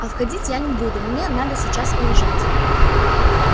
а входить я не буду мне надо сейчас уезжать